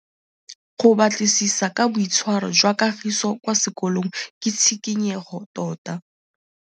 Go batlisisa ka boitshwaro jwa Kagiso kwa sekolong ke tshikinyêgô tota.